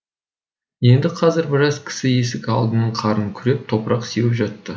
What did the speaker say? енді қазір біраз кісі есік алдының қарын күреп топырақ сеуіп жатты